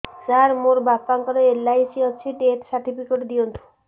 ସାର ମୋର ବାପା ଙ୍କର ଏଲ.ଆଇ.ସି ଅଛି ଡେଥ ସର୍ଟିଫିକେଟ ଦିଅନ୍ତୁ